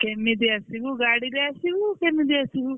କେମିତି ଆସିବୁ ଗାଡିରେ ଆସିବୁ କେମିତି ଆସିବୁ।